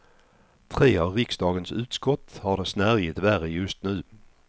Tre av riksdagens utskott har det snärjigt värre just nu.